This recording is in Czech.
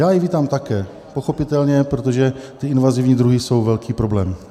Já ji vítám také, pochopitelně, protože ty invazivní druhy jsou velký problém.